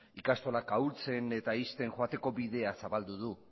ikastolak ahultzen eta uzten joateko bidea zabaldu du